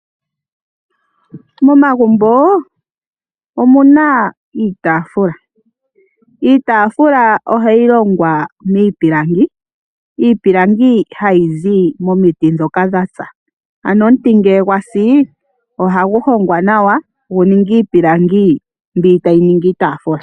Momagumbo omuna iitafula, iitafula ohayi longwa miipilangi ,iipilangi hayi zi momiti ndhoka dhasa. Ano omuti ngele gwasi ohagu hongwa nawa gu ninge iipilangi mbi tayi ningi iitafula.